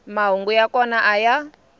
mahungu ya kona a ya